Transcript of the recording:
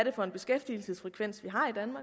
er for en beskæftigelsesfrekvens vi